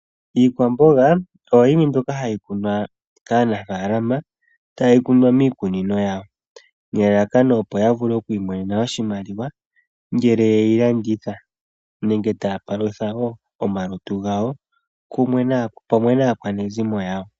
Iikwamboga oyo yimwe mbyoka hayi kunwa kaanafalama tayi kunwa miikunino yawo, nelalakano opo yavule okwiimonena oshimaliwa ngele yeyi landitha, nenge taya palutha omalutu gawo pamwe naakwanezimo yawo.